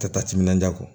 Ka taa timinanja kɔ